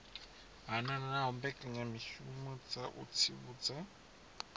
hanaho mbekanyamishumo dza u tsivhudza